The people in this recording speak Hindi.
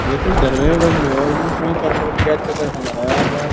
ये तो दर्गैह बंद है और इनको क्यों कैद कर कैद करके रखा जा रहा है आज आज।